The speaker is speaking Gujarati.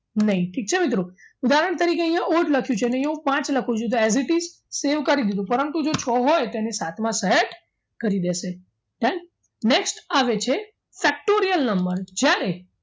નઈ ઠીક છે મિત્રો ઉદાહરણ તરીકે અહીંયા odd લખ્યું છે ને હું પાંચ લખું છું as it is save કરી દીધું પરંતુ જો છ હોય તેને સાતમા set કરી દેશે next આવે છે pectorial number જ્યારે